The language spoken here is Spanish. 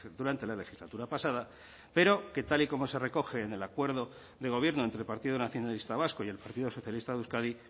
durante la legislatura pasada pero que tal y como se recoge en el acuerdo de gobierno entre el partido nacionalista vasco y el partido socialista de euskadi